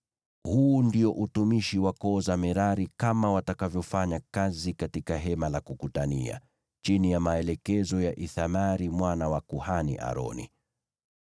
Huu ndio utumishi wa koo za Merari kama watakavyofanya kazi katika Hema la Kukutania, chini ya maelekezo ya Ithamari mwana wa kuhani, Aroni.”